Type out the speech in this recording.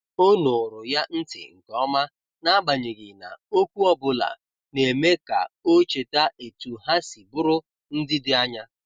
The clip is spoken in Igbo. O nụụrụ ya ntị nke ọma, n’agbanyeghị na okwu ọ bụla na-eme ka o cheta etu ha si bụrụ ndị dị anya.